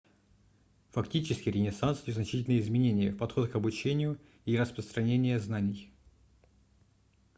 фактически ренессанс внес значительные изменения в подход к обучению и распространение знаний